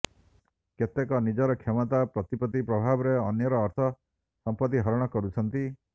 କେତେକ ନିଜର କ୍ଷମତା ପ୍ରତିପ୍ରତ୍ତି ପ୍ରଭାବରେ ଅନ୍ୟର ଅର୍ଥ ସମ୍ପତ୍ତି ହରଣ କରୁଛନ୍ତି